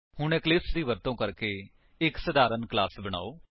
ਹੁਣ ਇਕਲਿਪਸ ਦੀ ਵਰਤੋ ਕਰਕੇ ਇੱਕ ਸਧਾਰਣ ਕਲਾਸ ਬਨਾਓ